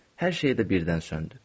Hər şey də birdən söndü.